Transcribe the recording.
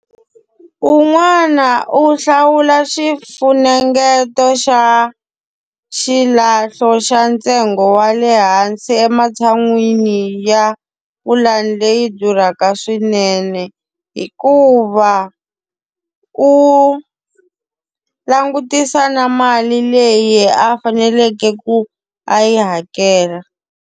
Un'wana u hlawula xifunengeto xa xilahlo xa ntsengo wa le hansi ematshan'wini ya pulani leyi yi durhaka swinene, hikuva u langutisa na mali leyi a faneleke ku a yi hakela.